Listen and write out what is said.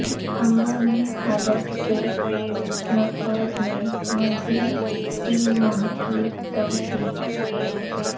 ہنگامی حالت کے نفاذ میں مزید تین ماہ کی توسیع